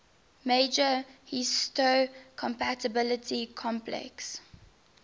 major histocompatibility complex